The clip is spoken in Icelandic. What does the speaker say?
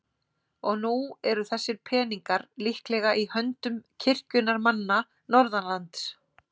Og nú eru þessir peningar líklega í höndum kirkjunnar manna norðanlands?